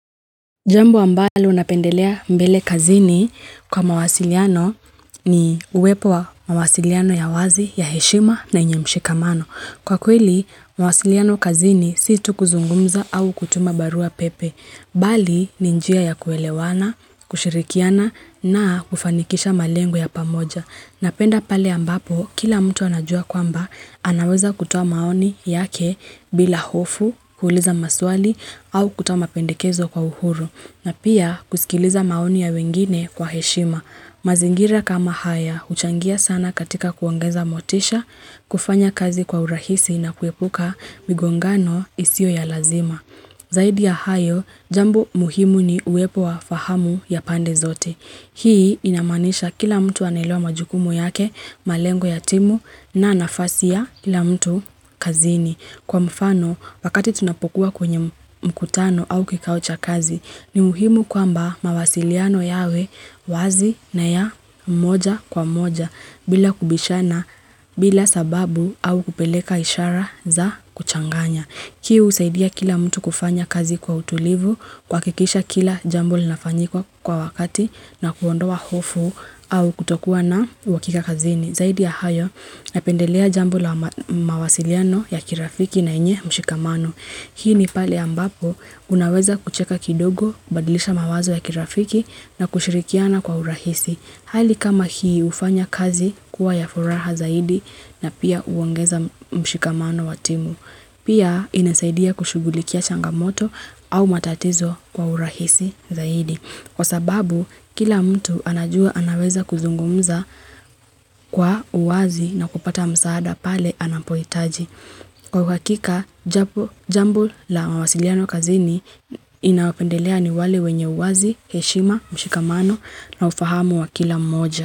Jambo ambalo unapendelea mbele kazini kwa mawasiliano ni uwepo wa mawasiliano ya wazi, ya heshima na inyemshikamano. Kwa kweli, mawasiliano kazini si tukuzungumza au kutuma barua pepe. Bali, ni njia ya kuelewana, kushirikiana na kufanikisha malengo ya pamoja. Napenda pale ambapo, kila mtu anajua kwamba anaweza kutuwa maoni yake bila hofu, kuuliza maswali au kutoa mapendikezo kwa uhuru, na pia kusikiliza maoni ya wengine kwa heshima. Mazingira kama haya, uchangia sana katika kuongeza motisha, kufanya kazi kwa urahisi na kuepuka migongano isio ya lazima. Zaidi ya hayo, jambo muhimu ni uwepo wa fahamu ya pande zote. Hii inamanisha kila mtu anailua majukumu yake malengo yatimu na anafasia kila mtu kazini. Kwa mfano, wakati tunapokuwa kwenye mkutano au kikao cha kazi, ni muhimu kwa mba mawasiliano yawe wazi na ya moja kwa moja bila kubishana bila sababu au kupeleka ishara za kuchanganya. Kii usaidia kila mtu kufanya kazi kwa utulivu, kuhakikisha kila jambul nafanyikuwa kwa wakati na kuondoa hofu au kutokuwa na hakika kazini. Zaidi ya hayo, napendelea jambul na mawasiliano ya kirafiki na inye mshikamano. Hii ni pale ambapo, unaweza kucheka kidogo, badilisha mawazo ya kirafiki na kushirikiana kwa urahisi. Hali kama hii ufanya kazi kuwa ya furaha zaidi na pia uongeza mshikamano wa timu. Pia inasaidia kushugulikia changamoto au matatizo kwa urahisi zaidi. Kwa sababu, kila mtu anajua anaweza kuzungumza kwa uwazi na kupata msaada pale anapoitaji. Kwa ukakika, jambo la mawasiliano kazini inapendelea ni wale wenye uwazi, heshima, mshikamano na ufahamu wa kila moja.